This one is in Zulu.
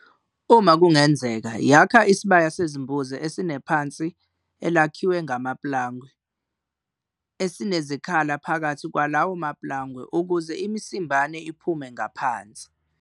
Uma kungenzeka, yakha isibaya sezimbuzi esinephansi elakhiwe ngamapulangwe esinezikhala phakathi kwalawo mapulangwe ukuze imisimbane iphume ngaphansi.